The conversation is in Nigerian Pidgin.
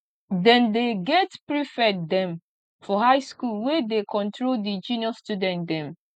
dem dey get prefect dem for high skool wey dey control di junior student dem